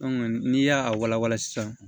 n'i y'a a wala wala sisan